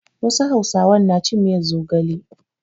Wasu hausawan na cin miyar zogale.